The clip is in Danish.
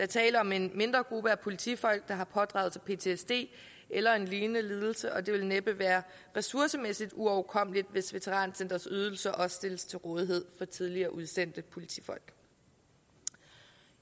tale om en mindre gruppe af politifolk der har pådraget sig ptsd eller en lignende lidelse og det vil næppe være ressourcemæssigt uoverkommeligt hvis veterancentrets ydelser også stilles til rådighed for tidligere udsendte politifolk